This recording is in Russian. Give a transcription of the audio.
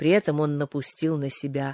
при этом он напустил на себя